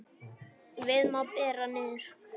Víða má bera niður.